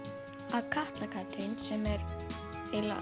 að Katla Katrín sem er